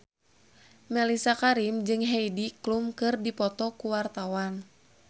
Mellisa Karim jeung Heidi Klum keur dipoto ku wartawan